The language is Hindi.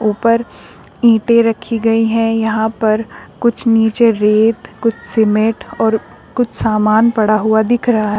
ऊपर ईंटे रखी गई है यहां पर कुछ नीचे रेत कुछ सीमेंट और कुछ सामान पड़ा हुआ दिख रहा--